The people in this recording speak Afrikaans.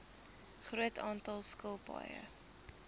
groot aantal skilpaaie